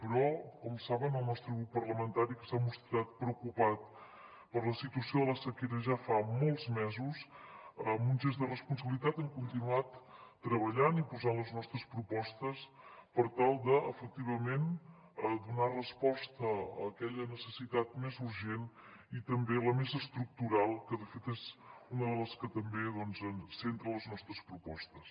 però com saben el nostre grup parlamentari que s’ha mostrat preocupat per la situació de la sequera ja fa molts mesos en un gest de responsabilitat hem continuat treballant i posant les nostres propostes per tal de efectivament donar resposta a aquella necessitat més urgent i també la més estructural que de fet és una de les que també centra les nostres propostes